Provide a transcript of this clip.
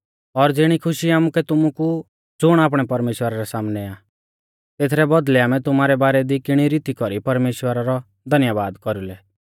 और ज़िणी खुशी आमुकै तुमु कु ज़ुण आपणै परमेश्‍वरा रै सामनै आ तेथरै बौदल़ै आमै तुमारै बारै दी किणी रीती कौरी परमेश्‍वरा रौ धन्यबाद कौरुलै